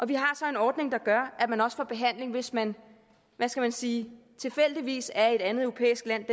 vi har så en ordning der gør at man også får behandling hvis man hvad skal jeg sige tilfældigvis er i et andet europæisk land